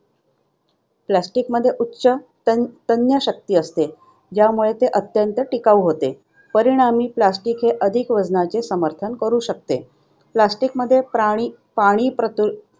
Plastic मध्ये उच्च तन~ तन्य शक्ती असते, ज्यामुळे ते अत्यंत टिकाऊ होते. परिणामी, plastic अधिक वजनाचे समर्थन करू शकते. Plastic मध्ये प्राणी पाणी-प्रतिरोधक